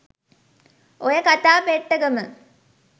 ඔය කතා පෙට්ටගම